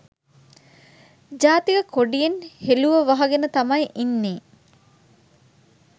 ජාතික කොඩියෙන් හෙළුව වහගෙන තමයි ඉන්නෙ.